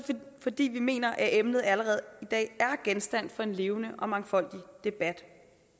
fordi vi mener at emnet allerede i dag er genstand for en levende og mangfoldig debat